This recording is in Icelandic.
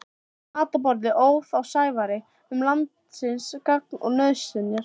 Við matarborðið óð á Sævari um landsins gagn og nauðsynjar.